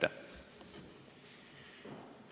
Aitäh!